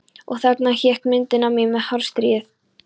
Og þarna hékk myndin af mér með hárstrýið.